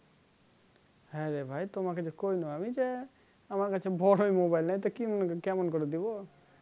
হ্যাঁ রে ভাই তোমার কাছে করে নিবো আমার কাছে বড়ো mobile নাই তা কেমন করে দিবো